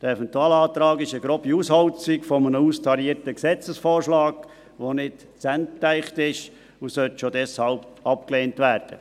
Der Eventualantrag ist eine grobe Ausholzung eines austarierten Gesetzesvorschlags, welcher nicht zu Ende gedacht ist, und soll schon deshalb abgelehnt werden.